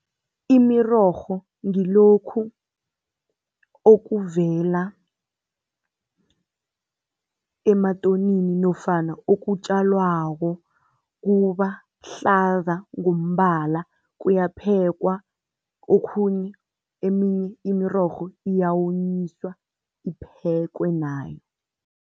Imirorho ngilokhu okuvela ematonini nofana okutjalwako kubahlaza ngombala kuyaphekwa, okhunye eminye imirorho iyonyiswa iphekwe nayo.